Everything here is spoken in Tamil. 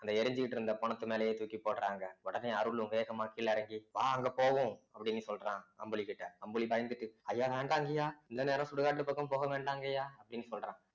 அந்த எரிஞ்சுக்கிட்டிருந்த பொணத்து மேலயே தூக்கி போடுறாங்க உடனே அருளும் வேகமா கீழ இறங்கி வா அங்க போவோம் அப்படின்னு சொல்றான் அம்புலி கிட்ட அம்புலி பயந்துட்டு ஐயா வேண்டாங்கய்யா இந்த நேரம் சுடுகாட்டு பக்கம் போக வேண்டாம்ங்கய்யா அப்படின்னு சொல்றான்